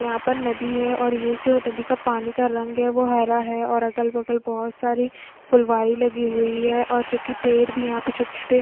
यहाँ पर नदी है और ये जो नदी का पानी रंग है वो हरा है और अगल-बगल बहोत सारी फुलवारी लगी हुई है और जो की पेड़ भी यहाँ पे छोटे-छोटे--